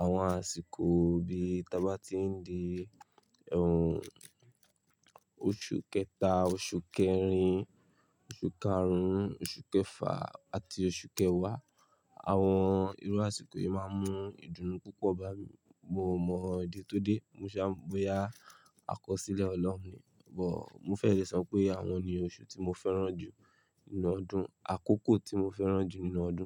Àwọn àsìkò bí ta bá ti ń di ehn oṣù kẹta, oṣù kẹrin, oṣù karùn-ún, oṣù kẹfà àti oṣù kẹwàá. Àwọn irú àsìkò yìí máa ń mú ìdùnnú púpọ̀ bá mi. Mo mọ̀ ìdí tó dé, mo ṣá, bóyá àkọsílẹ̀ ọlọ́run ni. But mo fẹ́ lè sọ pé àwọn ni oṣù tí mo fẹ́ràn jù nínú ọdún, àkókò tí mo fẹ́ràn jù nínú ọdún.